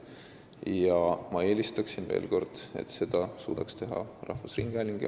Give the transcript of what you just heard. Ja veel kord: ma eelistaksin, et seda suudaks teha rahvusringhääling.